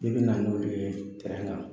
N'i bɛ na n'o ye kan